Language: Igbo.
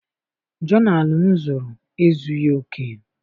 Jonalụ m zụrụ ezughị oke.